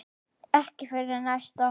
Ekki fyrir næsta horn.